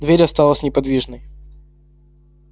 дверь осталась неподвижной